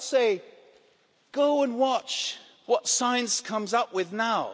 I would say, go and watch what science comes up with now!